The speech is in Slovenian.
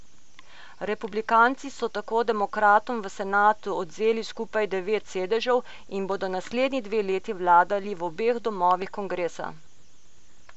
Republikanci so tako demokratom v senatu odvzeli skupaj devet sedežev in bodo naslednji dve leti vladali v obeh domovih kongresa.